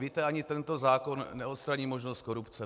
Víte, ani tento zákon neodstraní možnost korupce.